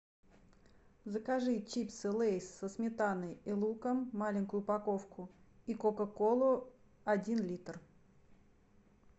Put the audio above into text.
закажи чипсы лейс со сметаной и луком маленькую упаковку и кока колу один литр